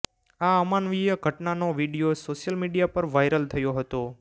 આ અમાનવીય ઘટનાનો વીડિયો સોશિયલ મીડિયા પર વાયરલ થયો હતો